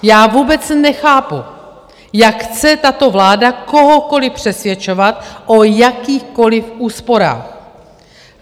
Já vůbec nechápu, jak chce tato vláda kohokoliv přesvědčovat o jakýchkoliv úsporách.